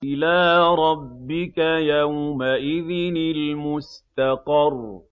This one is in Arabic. إِلَىٰ رَبِّكَ يَوْمَئِذٍ الْمُسْتَقَرُّ